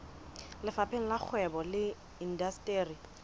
lefapheng la kgwebo le indasteri